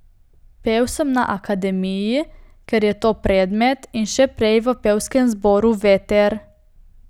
Pel sem na akademiji, ker je to predmet in še prej v pevskem zboru Veter.